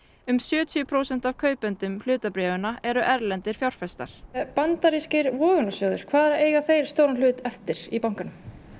um sjötíu prósent af kaupendum hlutabréfanna eru erlendir fjárfestar bandarískir vogunarsjóðir hvað eiga þeir stóran hlut eftir í bankanum